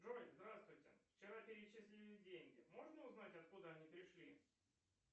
джой здравствуйте вчера перечислили деньги можно узнать откуда они пришли